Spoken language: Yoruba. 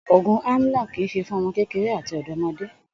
Ògùn Amlong kì í s̩e fún o̩mo̩ kékeré àti ò̩dó̩mo̩dé